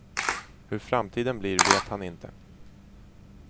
Hur framtiden blir vet han inte.